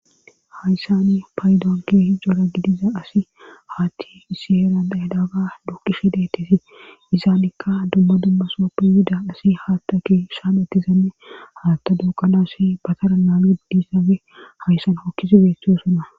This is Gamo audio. Hayssani paydoonke hijora gidiza asi haatti isi heran daydaaga dukkishe deetesi izaanikka dumma dummasooppi yuda asi haatta ke saametizanne haatta duuqanasi batara naagiddissabe hayssan okkisi beettiosona.